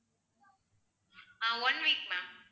ah one week ma'am